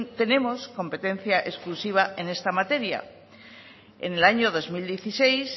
tenemos competencia exclusiva en esta materia en el año dos mil dieciséis